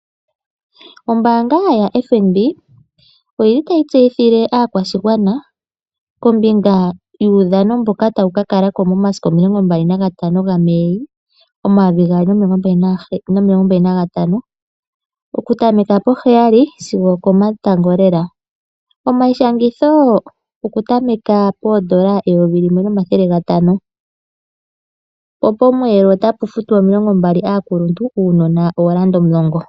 Ombaanga yaFNB otayi tseyithile aakwashigwana kombinga yuudhano mboka tawu ka kala ko momasiku 25 Mei 2025, okutameka poheyali sigo okomatango lela. Omaishangitho okutameka pooN$ 1500. Pomweelo otapu futwa N$ 20 kaakuluntu wo uunona ooN$ 10.